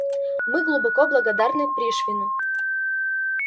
мы глубоко благодарны пришвину